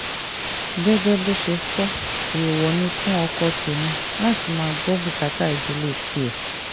gẹ́gẹ́ bó ṣe sọ èèwọ̀ ni fún ọkọ tẹ̀mí láti máa gbọ́ bùkátà ìdílé tiẹ̀